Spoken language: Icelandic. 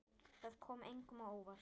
Það kom engum á óvart.